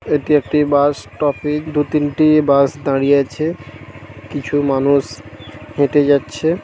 এটি একটি bus stoppage. দু তিনটি বাস দাঁড়িয়ে আছে। কিছু মানুষ হেঁটে যাচ্ছে ।